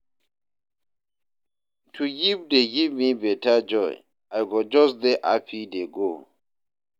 To give dey give me beta joy, I go just dey happy dey go